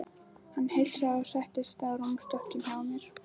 Hann heilsaði og settist á rúmstokkinn hjá mér.